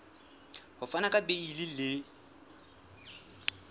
ho fana ka beile le